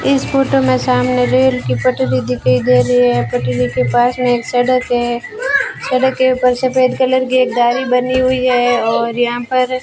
इस फोटो मे सामने रेल की पटरी दिखाई दे रही है पटरी के पास मे एक सड़क है सड़क के ऊपर सफेद कलर की एक गाड़ी बनी हुई है और यहां पर --